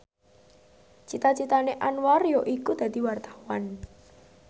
cita citane Anwar yaiku dadi wartawan